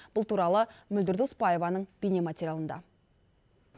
бұл туралы мөлдір доспаеваның бейнематериалында